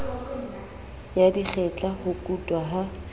ya dikgetla ho kutwa ha